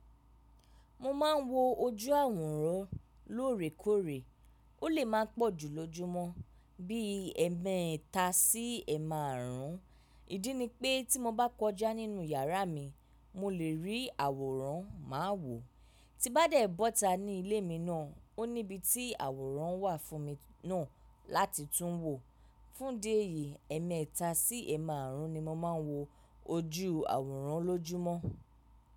Mo máa ń wo ojú àwòrán lóòrèkóòrè. Ó lè má pọ̀ jù lójúmọ́, bí ẹ̀ẹ̀mèta sí ẹ̀ẹ̀márún. Ìdí ni pé tí mo bá kọjá nínú yàrá mi, mo lè rí àwòrán má wò. Ti bá dẹ̀ bọ́ta ní ilé mi náà, ó ní ibi tí àwòrán wà fún mi náà láti tún wò. Fún idi eyìí, ẹ̀ẹ̀mèta sí ẹ̀ẹ̀márún ni mo máa ń wo ojú àwòrán lójúmọ́.